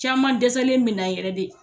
Caman dɛsɛlen min na yɛrɛ de.